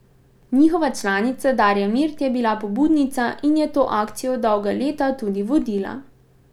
Njihova članica Darja Mirt je bila pobudnica in je to akcijo dolga leta tudi vodila.